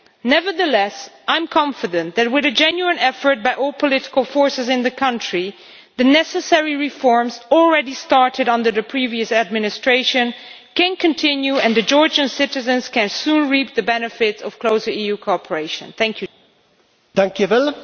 Nevertheless I am confident that, with a genuine effort by all the political forces in the country, the necessary reforms already started under the previous administration can continue, and Georgian citizens can soon reap the benefits of closer cooperation with the EU.